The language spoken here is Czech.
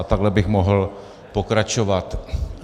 A takhle bych mohl pokračovat.